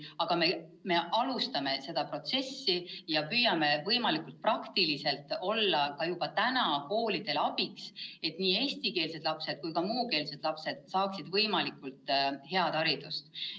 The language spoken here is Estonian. Aga me alustame seda protsessi ja püüame võimalikult praktiliselt olla ka juba praegu koolidele abiks, et nii eestikeelsed kui ka muukeelsed lapsed saaksid võimalikult hea hariduse.